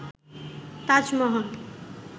Taj Mahal